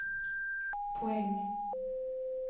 poäng